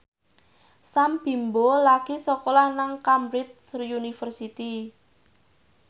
Sam Bimbo lagi sekolah nang Cambridge University